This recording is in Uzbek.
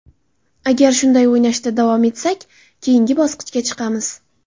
Agar shunday o‘ynashda davom etsak, keyinga bosqichga chiqamiz.